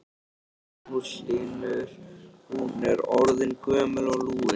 Magnús Hlynur: Hún er orðin gömul og lúin?